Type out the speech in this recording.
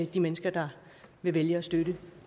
de mennesker der vil vælge at støtte